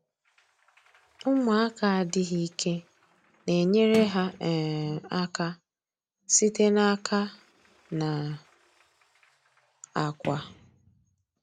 Ụmụaka adịghị ike na-enyere ha um aka site n’aka na akwa.